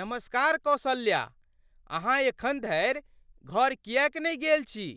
नमस्कार कौसल्या, अहाँ एखन धरि घर किएक नहि गेल छी?